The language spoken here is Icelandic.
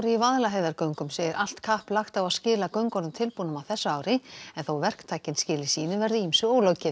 í Vaðlaheiðargöngum segir allt kapp lagt á að skila göngunum tilbúnum á þessu ári en þó verktakinn skili sínu verði ýmsu ólokið